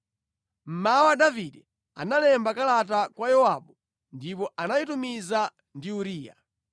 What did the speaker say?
Mmawa Davide analemba kalata kwa Yowabu ndipo anayitumiza ndi Uriya.